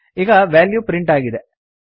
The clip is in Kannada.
ಈಗ ವ್ಯಾಲ್ಯೂ ಪ್ರಿಂಟ್ ಆಗಿದೆ